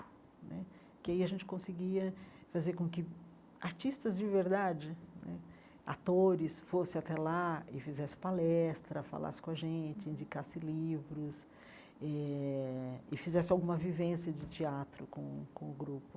Né porque aí a gente conseguia fazer com que artistas de verdade né, atores, fossem até lá e fizessem palestra, falassem com a gente, indicassem livros eh e fizessem alguma vivência de teatro com com o grupo.